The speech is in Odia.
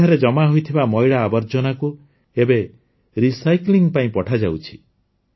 ସେଠାରେ ଜମା ହୋଇଥିବା ମଇଳା ଆବର୍ଜନାକୁ ଏବେ ରିସାଇକ୍ଲିଂ ପାଇଁ ପଠାଯାଉଛି